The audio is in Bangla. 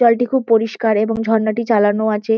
জলটি খুব পরিষ্কার এবং ঝর্ণাটি চালানো আছে।